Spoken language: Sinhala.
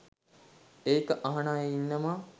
ඒක අහන අය ඉන්නවා